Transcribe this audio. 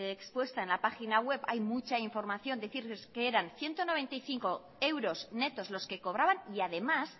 expuesta en la página web hay mucha información decirles que eran ciento noventa y cinco euros netos los que cobraban y además